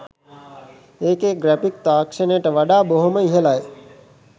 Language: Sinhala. එකේ ග්‍රැෆික් තාක්ෂණයට වඩා බොහෝම ඉහළයි.